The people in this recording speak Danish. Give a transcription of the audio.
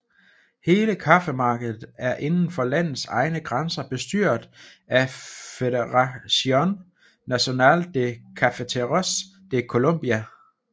Hele kaffemarkedet er inden for landets egne grænser bestyret af Federación Nacional de Cafeteros de Colombia